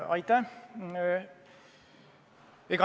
Aitäh!